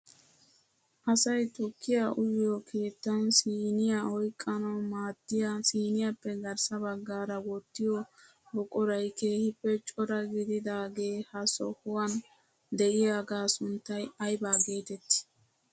Asay tukkiyaa uyiyoo keettan siiniyaa oyqqanawu maaddiyaa siiniyappe grssa baggaara wottiyoo buquray keehippe cora gididaagee ha sohuwaan de'iyaagaa sunttay aybaa geetettii?